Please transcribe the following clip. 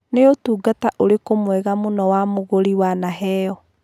Nĩ ũtungata ũrĩkũ mwega mũno wa mũgũrĩ wanaheo?